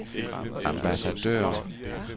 ambassadør